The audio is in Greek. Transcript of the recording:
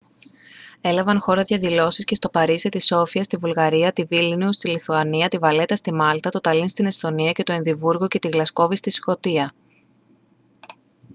έλαβαν χώρα διαδηλώσεις και στο παρίσι τη σόφια στη βουλγαρία τη βίλνιους στη λιθουανία τη βαλέτα στη μάλτα το ταλίν στην εσθονία και το εδιμβούργο και τη γλασκόβη στη σκωτία